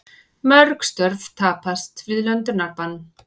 Mörg störf tapast við löndunarbann